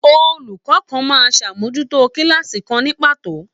Olùkọ kàn máa n sàmójútó kilaasi kan ni pàtó.